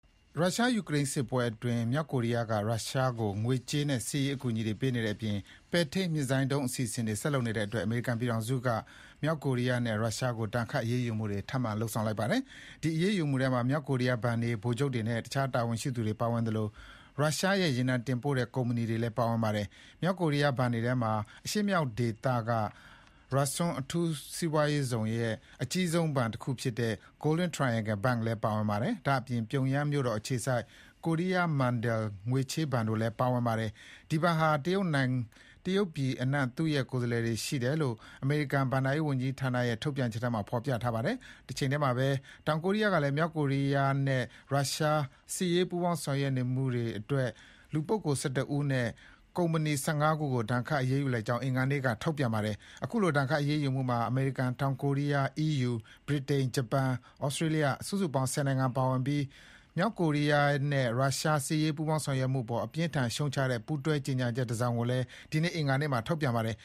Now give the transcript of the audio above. ရုရှား-ယူကရိန်းစစ်ပွဲအတွင်း မြောက်ကိုရီးယားက ရုရှားကို ငွေကြေးနဲ့စစ်ရေးအကူအညီတွေ ပေးနေတဲ့အပြင် ပဲ့ထိန်းမစ်ဇိုင်းဒုံးအစီအစဉ်တွေဆက်လုပ်နေတဲ့အတွက် အမေရိကန်ပြည်ထောင်စုက မြောက်ကိုရီးယားနဲ့ ရုရှားကို ထပ်ပြီးတော့ ဒဏ်ခတ်အရေးယူလိုက်ပါတယ်။ ဒီအရေးယူမှုထဲမှာ မြောက်ကိုရီးယား ဘဏ်တွေ၊ ဗိုလ်ချုပ်တွေနဲ့ အခြားတာဝန်ရှိသူတွေပါဝင်သလို ရုရှားရဲ့ ရေနံတင်ပို့တဲ့ကုမ္ပဏီတွေလည်းပါဝင်ပါတယ်။ မြောက်ကိုရီးယားဘဏ်တွေထဲမှာ အရှေ့မြောက်ဒေသက Rason အထူးစီးပွားရေးဇုံရဲ့ အကြီးဆုံးဘဏ်ဖြစ်တဲ့ Golden Triangle Bank လည်းပါဝင်ပါတယ်။ ဒါ့အပြင် ပြုံယမ်းမြို့တော်အခြေစိုက် Korea Mandal ချေးငွေဘဏ်လည်း ပါဝင်ပါတယ်။ ဒီဘဏ်ဟာ တရုတ်ပြည်အနှံ့ သူ့ရဲ့ ကိုယ်စားလှယ်တွေရှိတယ်လို့ အမေရိကန် ဘဏ္ဍာ ရေးဝန်ကြီးဌာနရဲ့ထုတ်ပြန်ချက်ထဲမှာဖေါ်ပြထားပါတယ်။ တချိန်တည်းမှာပဲ တောင်ကိုရီးယားကလည်း မြောက်ကိုရီးယားနဲ့ ရုရှား စစ်ရေးပူးပေါင်းဆောင်ရွက် နေတဲ့အတွက် လူပုဂ္ဂိုလ် ၁၁ ဦးနဲ့ ကုမ္ပဏီ ၁၅ ခုကိုဒဏ်ခတ်ရေးယူလိုက်ကြောင်း အင်္ဂါနေ့က ထုတ်ပြန်ပါတယ်။ အခုလိုဒဏ်ခတ်ရေးယူမှုမှာ အမေရိကန်၊ တောင်ကိုရီးယား၊ EU ၊ ဗြိတိန်၊ ဂျပန်၊ သြစတြေးလျား စုစုပေါင်း ၁၀ နိုင်ငံပါဝင်ပြီး မြောက်ကိုရီးယားနဲ့ရုရှား စစ်ရေးပူးပေါင်းဆောင်ရွက်မှုပေါ် အပြင်းအထန် ရှုတ်ချတဲ့ ပူးတွဲကြေညာချက်တစောင်ကိုလည်း ဒီကနေ့အင်္ဂါနေ့မှာထုတ်ပြန်ပါတယ်